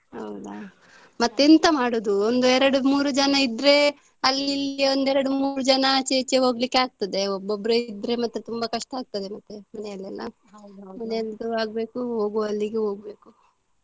ಹೌದಾ, ಮತ್ತೆ ಎಂತ ಮಾಡುದು ಒಂದೆರಡು ಮೂರು ಜನ ಇದ್ರೆ ಅಲ್ಲಿಲ್ಲಿ ಒಂದೆರಡು ಮೂರು ಜನ ಆಚೆ ಈಚೆ ಹೋಗ್ಲಿಕ್ಕೆ ಆಗ್ತದೆ ಒಬ್ಬೊಬ್ಬರೇ ಇದ್ರೆ ಮತ್ತೆ ತುಂಬಾ ಕಷ್ಟ ಆಗ್ತದೆ ಮತ್ತೆ ಮನೆಯಲೆಲ್ಲ ಮನೆಯದ್ದು ಆಗ್ಬೇಕು ಹೋಗುವಲ್ಲಿಗು ಹೋಗ್ಬೇಕು.